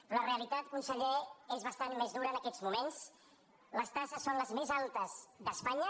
però la realitat conseller és bastant més dura en aquests moments les taxes són les més altes d’espanya